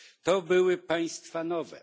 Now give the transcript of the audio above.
to były państwa nowe.